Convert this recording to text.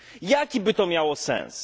Jaki by to miało sens?